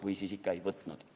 Või siis ikka ei võtnud.